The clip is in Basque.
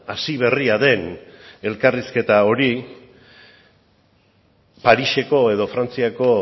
hasi berria den elkarrizketa hori pariseko edo frantziako